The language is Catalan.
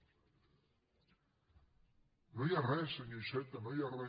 no hi ha re senyor iceta no hi ha re